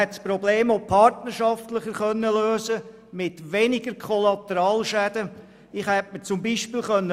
Einerseits hätte man das Problem auch partnerschaftlicher mit weniger Kollateralschäden lösen können.